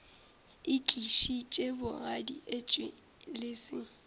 itlišitše bogadi etšwe le se